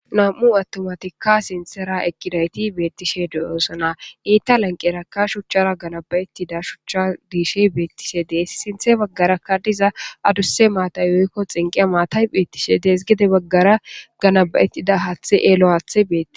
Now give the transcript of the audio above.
nam7u attumatikka sintera ekidayti beettishe de7oosona iitta lanqerakka shuchchara ganaba7ettida shuchcha diishe beettishe dees sinthe baggarakka diza adusse maatay oykko xinqi maatay beettishe dees gide baggara ganaba7ettida haathe eelo aathe beeti